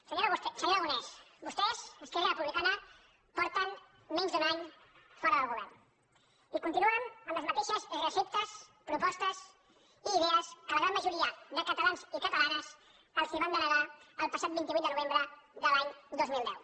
senyor aragonès vostès esquerra republicana fa menys d’un any que són fora del govern i continuen amb les mateixes receptes propostes i idees que la gran majoria de catalans i catalanes els van denegar el passat vint vuit de novembre de l’any dos mil deu